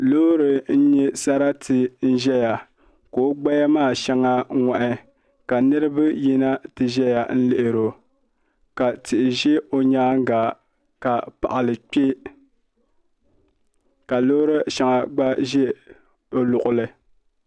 Loori n nyɛ sarati n ʒɛta ka o gbaya maa shɛŋa ŋoɣi ka niraba yina ti ʒɛya n lihi o ka tihi ʒɛ o nyaanga ka paɣali kpɛ ka loori shɛŋa gba ʒɛ o luɣuli